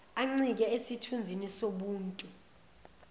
encike esithunzini sobuntu